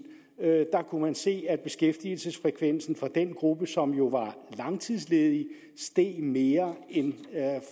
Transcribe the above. da kunne man se at beskæftigelsesfrekvensen for den gruppe som jo var langtidsledig steg mere end